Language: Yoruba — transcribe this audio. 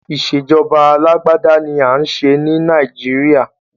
Ìṣèjọba alágbádá ni à ń ṣe ni Nàìjíríà.